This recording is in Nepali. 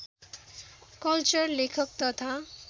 कल्चर लेखक तथा